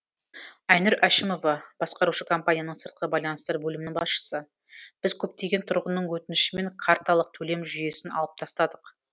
айнұр әшімова басқарушы компанияның сыртқы байланыстар бөлімінің басшысы біз көптеген тұрғынның өтінішімен карталық төлем жүйесін алып тастадық